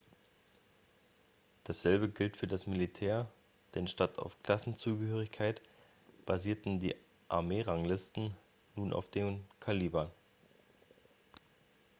dasselbe gilt für das militär denn statt auf klassenzugehörigkeit basierten die armee-ranglisten nun auf dem kaliber